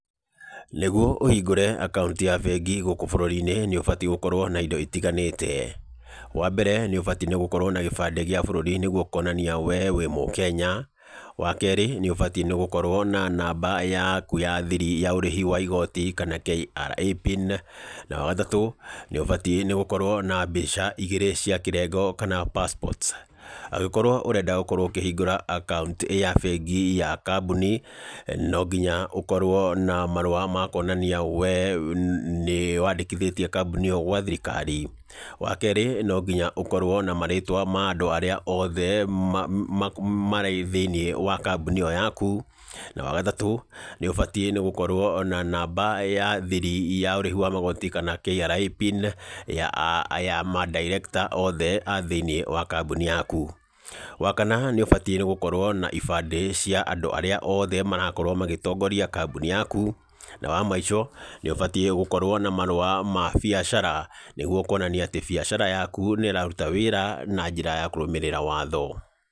Nĩguo ũhingũre akaunti ya bengi gũkũ bũrũri-inĩ, nĩ ũbatiĩ ũkorwo na indo itiganĩte. Wa mbere, nĩ ũbati nĩ gũkorwo na gĩbandĩ gĩa bũrũri, nĩguo kuonania wee wĩ mũkenya. Wa keerĩ, nĩ ũbati nĩ gũkorwo na namba yaku ya thiri ya ũrĩhi wa igooti kana KRA pin . Na wa gatatũ, nĩ ũbati nĩ gũkorwo na mbica igĩrĩ cia kĩrengo kana passports. Angĩkorwo ũrenda gũkorwo ũkĩhungũra akaunti ya bengi ya kambuni, no nginya ũkorwo na marũa ma kuonania we nĩ wandĩkithĩtie kambuni ĩyo gwa thirikari. Wa keeri no nginya ũkorwo na marĩtwa ma andũ arĩa othe marĩ thĩiniĩ wa kambuni ĩyo yaku, na wa gatatũ, nĩ ũbatiĩ nĩ gũkorwo na namba ya thiri ya ũrĩhi wa magoti kana KRA pin , ya aya ma director othe a thĩiniĩ wa kambuni yaku. Wa kana nĩ ũbatiĩ gũkorwo na ibandĩ cia andũ arĩa othe marakorwo magĩtogngoria kambuni yaku. Na wa mũico nĩ ũbatiĩ gũkorwo na marũa ma biacara, nĩguo kuonania atĩ biacara yaku nĩ ĩraruta wĩra na njĩra ya kũrũmĩrĩra watho.